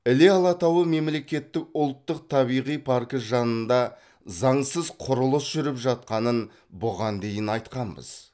іле алатауы мемлекеттік ұлттық табиғи паркі жанында заңсыз құрылыс жүріп жатқанын бұған дейін айтқанбыз